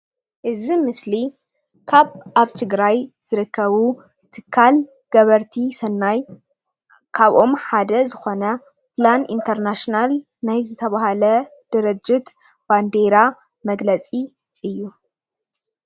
እዚ ምስሊ ካብ ኣብ ትግራይ ዝርከቡ ትካል ገበርቲ ሰናይ ካብኦም ሓደ ዝኮነ ፕላን እንተር ናሽናል ናይ ዝተባሃለ ድርጅት ባንዴራ መግለፂ እዩ፡፡